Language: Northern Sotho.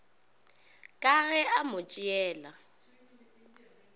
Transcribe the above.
ka ge a mo tšeela